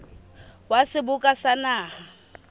wa seboka sa naha le